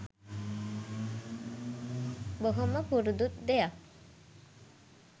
බොහොම පුරුදු දෙයක්.